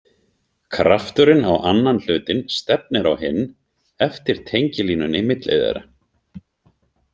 Krafturinn á annan hlutinn stefnir á hinn eftir tengilínunni milli þeirra.